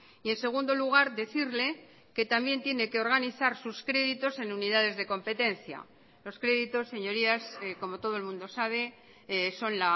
y en segundo lugar decirle que también tiene que organizar sus créditos en unidades de competencia los créditos señorías como todo el mundo sabe son